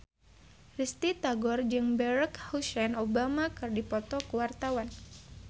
Risty Tagor jeung Barack Hussein Obama keur dipoto ku wartawan